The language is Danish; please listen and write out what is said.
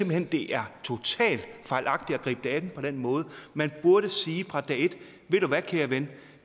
hen det er totalt fejlagtigt at gribe det an på den måde man burde sige fra dag et ved du hvad kære ven